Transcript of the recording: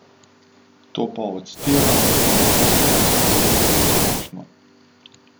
To pa odstira vrsto težav slovenskih podjetij na splošno.